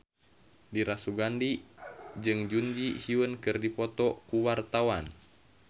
Dira Sugandi jeung Jun Ji Hyun keur dipoto ku wartawan